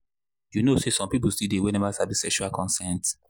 you know say people still dey we never sabi sexual consent.